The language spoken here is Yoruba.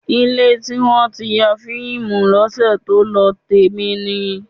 Ilé tí wọ́n ti ya fíìmù lọ́sẹ̀ tó lọ, tèmi ni.